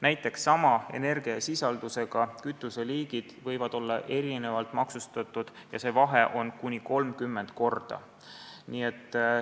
Näiteks võivad sama energiasisaldusega kütuseliigid olla erinevalt maksustatud ja seda kuni 30 korda.